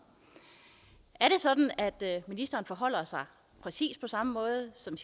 er det sådan at ministeren forholder sig præcis på samme måde som